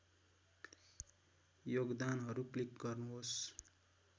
योगदानहरू क्लिक गर्नुहोस्